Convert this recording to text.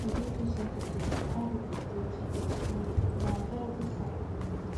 if you dey too sensitive to how people treat you you na anxiety sign